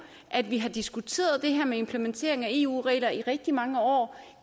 at vi har diskuteret det her med implementering af eu regler i rigtig mange år